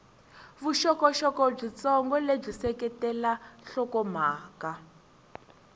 vuxokoxoko byitsongo lebyi seketela nhlokomhaka